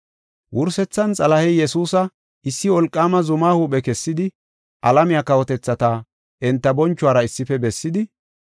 Wursethan Xalahey Yesuusa issi wolqaama zuma huuphe kessidi alamiya kawotethata enta bonchuwara issife bessidi,